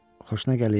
Xoşuna gəlir?